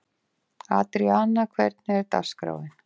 Adríana, hvernig er dagskráin?